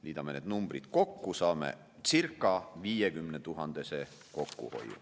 Liidame need numbrid kokku, saame kokkuhoiu circa 50 000 eurot.